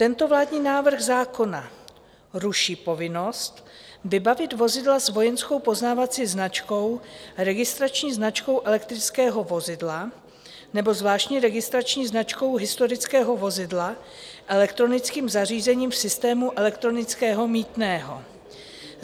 Tento vládní návrh zákona ruší povinnost vybavit vozidla s vojenskou poznávací značkou, registrační značkou elektrického vozidla nebo zvláštní registrační značkou historického vozidla elektronickým zařízením v systému elektronického mýtného.